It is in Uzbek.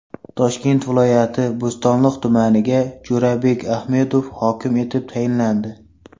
Toshkent viloyati Bo‘stonliq tumaniga Jo‘rabek Ahmedov hokim etib tayinlandi.